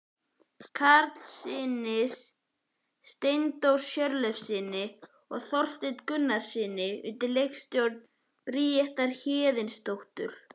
Karlssyni, Steindóri Hjörleifssyni og Þorsteini Gunnarssyni undir leikstjórn Bríetar Héðinsdóttur.